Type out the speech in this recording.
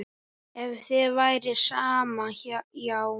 Ef þér væri sama, já.